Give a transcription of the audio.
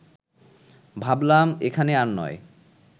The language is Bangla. ভাবলাম এখানে আর নয়